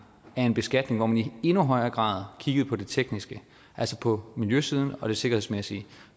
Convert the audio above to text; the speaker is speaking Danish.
af en beskatning hvor man i endnu højere grad kiggede på det tekniske altså på miljøsiden og det sikkerhedsmæssige